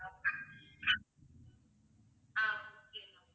ah okay ma'am